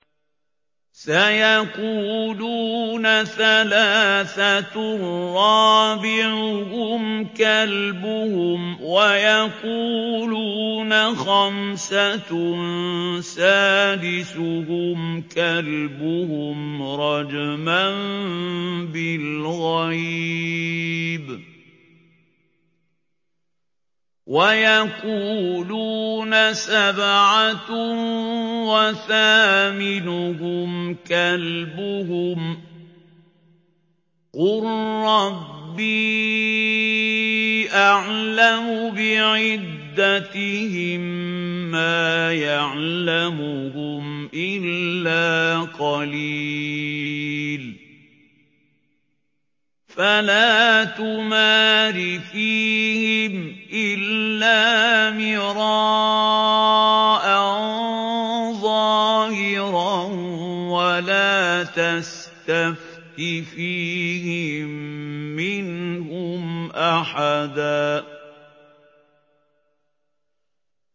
سَيَقُولُونَ ثَلَاثَةٌ رَّابِعُهُمْ كَلْبُهُمْ وَيَقُولُونَ خَمْسَةٌ سَادِسُهُمْ كَلْبُهُمْ رَجْمًا بِالْغَيْبِ ۖ وَيَقُولُونَ سَبْعَةٌ وَثَامِنُهُمْ كَلْبُهُمْ ۚ قُل رَّبِّي أَعْلَمُ بِعِدَّتِهِم مَّا يَعْلَمُهُمْ إِلَّا قَلِيلٌ ۗ فَلَا تُمَارِ فِيهِمْ إِلَّا مِرَاءً ظَاهِرًا وَلَا تَسْتَفْتِ فِيهِم مِّنْهُمْ أَحَدًا